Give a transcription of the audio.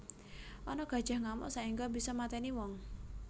Ana gajah ngamuk saengga bisa mateni wong